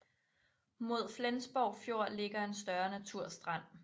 Mod Flensborg Fjord ligger en større naturstrand